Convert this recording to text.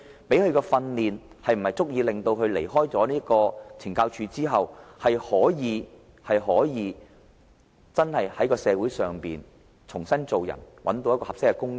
提供的訓練是否足以令他在離開懲教組織後，可以在社會重新做人，找到合適的工種？